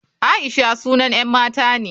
Aisha sunan 'yan mata ne.